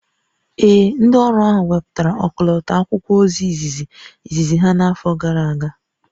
Ee, ndị ọrụ ahụ wepụtara ọkọlọtọ akwụkwọ ozi izizi izizi ha n'afọ gara aga